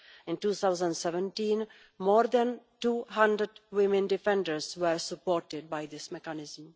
In 2017, more than 200 women defenders were supported by this mechanism.